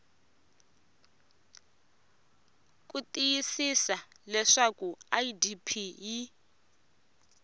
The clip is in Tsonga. ku tiyisisa leswaku idp yi